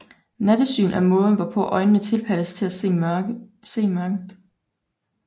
Nattesyn er måden hvorpå øjnene tilpasses til at se i mørke